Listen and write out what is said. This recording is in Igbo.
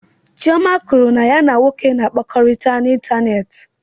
Chioma kwuru na ya na nwoke na-akpakọrịta n'ịntanetị.